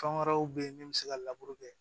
Fɛn wɛrɛw bɛ ye min bɛ se ka laburu kɛ